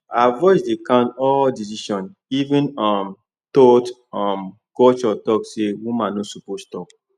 her voice dey count for all decision even um though um culture talk say woman no suppose talk